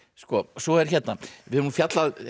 svo er hérna við höfum fjallað